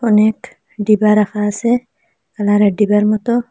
অনেক ডিবা রাখা আসে কালার -এর ডিবার মতো।